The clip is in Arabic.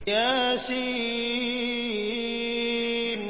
يس